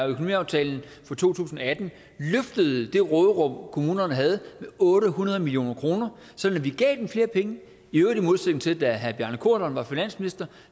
økonomiaftalen for to tusind og atten løftede det råderum kommunerne havde med otte hundrede million kr sådan at vi gav dem flere penge i øvrigt i modsætning til da herre bjarne corydon var finansminister